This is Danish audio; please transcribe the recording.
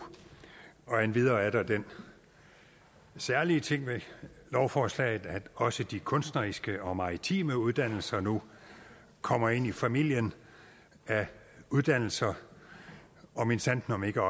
og lo endvidere er der den særlige ting ved lovforslaget at også de kunstneriske og maritime uddannelser nu kommer ind i familien af uddannelser og minsandten om ikke